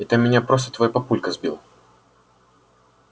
это меня просто твой папулька сбил